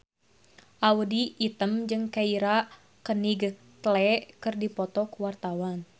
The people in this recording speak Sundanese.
Audy Item jeung Keira Knightley keur dipoto ku wartawan